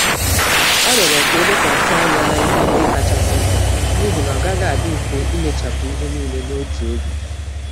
Ọ rioro ka elekwasị ányá n'ihe ndị kachasị mkpa, n'ihi na ọ gaghị adị mfe imechapụ ihe nílé n'otu oge